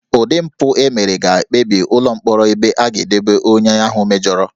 Ụdị mpụ e mere ga-ekpebi ụlọ mkpọrọ ebe a ga-edobe onye ahụ mejọrọ